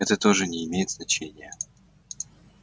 это тоже не имеет значения